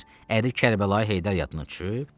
Əri Kərbəlayı Heydər yadına düşüb?